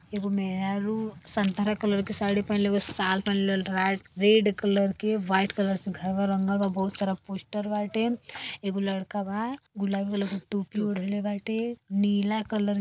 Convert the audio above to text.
ये वो मेहरारू संतरा कलर की साडी पहनले बिया साल पहनले राय रेड कलर के व्हाइट कलर से घर वर रंगलवा बहोत सारा पोस्टर बाटे। एगो लड़का बा गुलाबी कलर का टोपी ओढ़ ले बाटे। नीला कलर --